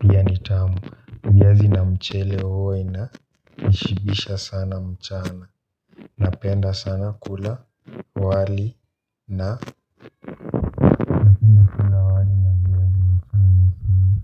pia ni tamu viazi na mchele huwa ina nishibisha sana mchana. Na penda sana kula wali na.